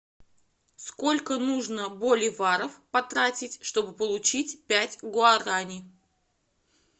сколько нужно боливаров потратить чтобы получить пять гуарани